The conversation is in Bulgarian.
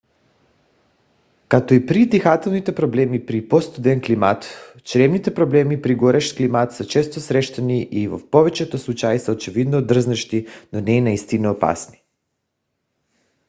както и при дихателните проблеми при по - студен климат чревните проблеми при горещ климат са често срещани и в повечето случаи са очевидно дразнещи но не и наистина опасни